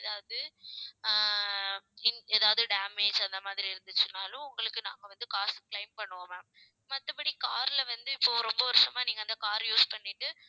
ஏதாவது ஆஹ் இன்~ ஏதாவது damage அந்த மாதிரி இருந்துச்சுன்னாலும் உங்களுக்கு நாங்க வந்து காசு claim பண்ணுவோம் ma'am மத்தபடி car ல வந்து, இப்போ ரொம்ப வருஷமா நீங்க அந்த car அ use பண்ணிட்டு